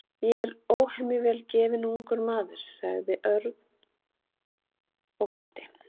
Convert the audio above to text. Ég er óhemju vel gefinn ungur maður sagði Örn og glotti.